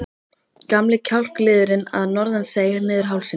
Gamli kjálkaliðurinn að norðan seig niður hálsinn.